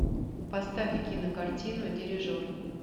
поставь кинокартину дирижер